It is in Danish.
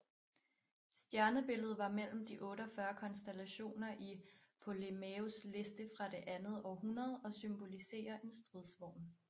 Stjernebilledet var mellem de 48 konstellationer i Ptolemæus liste fra det andet århundrede og symboliserer en stridsvogn